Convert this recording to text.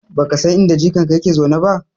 Baka san inda jikanka yake zaune ba?